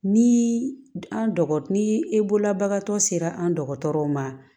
Ni an dɔgɔ ni e bolobagatɔ sera an dɔgɔtɔrɔw ma